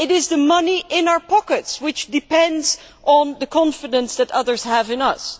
the money in our pockets depends on the confidence that others have in us.